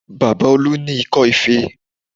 Baba Olu ní ikọ́ ife